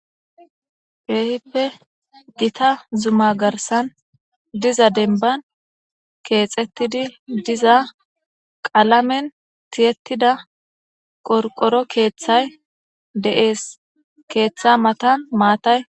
Keehippe gita zuma garsan diza denban keexettidi diza qalamen tiyettida qorqoro keeththay deees keeththa matan maatay.